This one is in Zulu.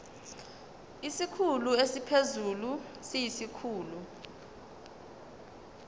isikhulu esiphezulu siyisikhulu